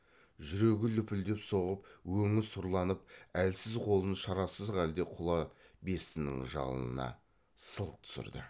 жүрегі лүпілдеп соғып өңі сұрланып әлсіз қолын шарасыз халде құла бестінің жалынына сылқ түсірді